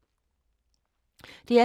DR P3